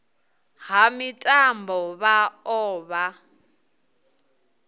ha mitambo vha o vha